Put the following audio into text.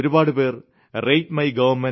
നിങ്ങളിൽ ഒരുപാടുപേർ RateMyGovernment